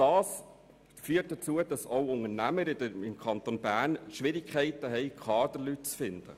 Das führt auch dazu, dass Unternehmen im Kanton Bern Schwierigkeiten haben, Kaderleute zu finden.